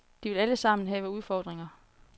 De vil alle sammen have udfordringer.